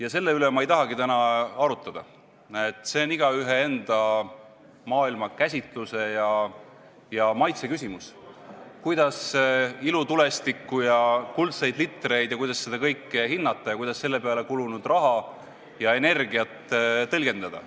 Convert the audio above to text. Aga selle üle ma ei tahagi täna arutada, see on igaühe enda maailmakäsituse ja maitse küsimus, kuidas ilutulestikku, kuldseid litreid ja seda kõike hinnata ning kuidas selle peale kulunud raha ja energiat tõlgendada.